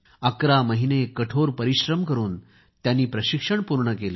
11 महिने कठोर परिश्रम करून त्यांनी प्रशिक्षण पूर्ण केले